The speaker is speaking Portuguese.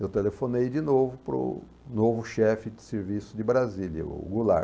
Eu telefonei de novo para o novo chefe de serviço de Brasília, o Goulart.